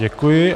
Děkuji.